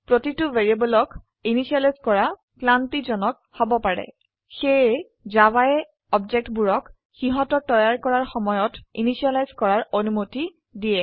প্ৰতিটো ভ্যাৰিয়েবলক ইনিসিয়েলাইজ কৰা ক্লান্তিজনক হব পাৰে সেয়ে জাভায়ে অবজেক্টবোৰক সিহতৰ তৈয়াৰ কৰাৰ সময়ত ইনিসিয়েলাইজ কৰাৰ অনুমতি দেয়